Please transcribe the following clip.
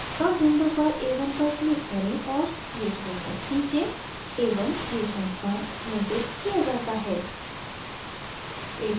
plot window पर a1 पर click करें और ch1 तक खींचें a1 ch1 पर निर्दिष्ट किया जाता है